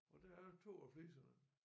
Og der er 2 af fliserne